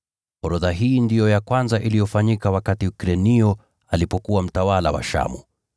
(Orodha hii ndiyo ya kwanza iliyofanyika wakati Krenio alikuwa mtawala wa Shamu ).